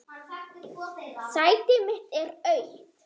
Sæti mitt er autt.